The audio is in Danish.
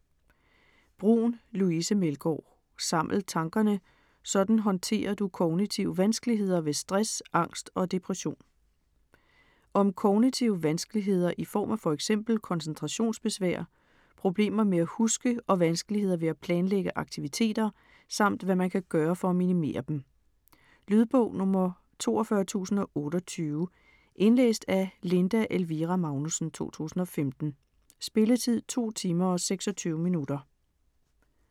Bruun, Louise Meldgaard: Saml tankerne: sådan håndterer du kognitive vanskeligheder ved stress, angst og depression Om kognitive vanskeligheder i form af f.eks. koncentrationsbesvær, problemer med at huske og vanskeligheder ved at planlægge aktivititeter, samt hvad man kan gøre for at minimere dem. Lydbog 42028 Indlæst af Linda Elvira Magnussen, 2015. Spilletid: 2 timer, 26 minutter.